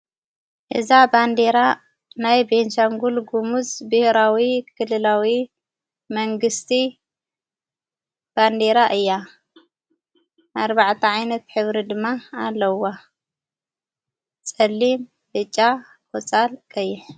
እዛ ባንዴራ ናይ ቤንሻንጕል ግሙዝ ብሂራዊ ክልላዊ መንግሥቲ ባንዴራ እያ ኣርባዕእት ዓይነት ኅብሪ ድማ ኣለዋ ጸሊም ፣በጫ፣ ቆፃል ፣ቀይሕ